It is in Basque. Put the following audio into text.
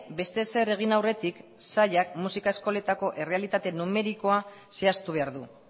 beste ezer egin aurretik sailak musika eskoletako errealitate numerikoa zehaztu behar du